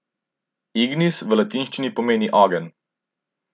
Ignis v latinščini pomeni ogenj.